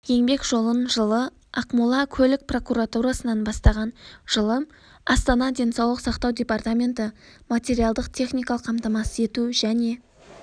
еңбек жолын жылы ақмола көлік прокуратурасынан бастаған жылы астана денсаулық сақтау департаменті материалдық-техникалық қамтамасыз ету және